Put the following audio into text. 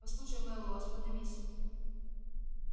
послушай мэллоу остановись